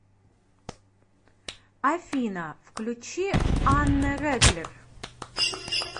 афина включи аннэ рэглер